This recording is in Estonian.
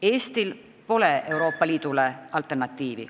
Eestil pole Euroopa Liidule alternatiivi.